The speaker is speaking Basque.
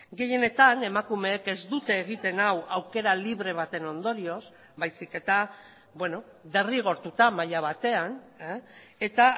gehienetan emakumeek ez dute egiten hau aukera libre baten ondorioz baizik eta derrigortuta maila batean eta